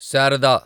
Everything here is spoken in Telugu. శారదా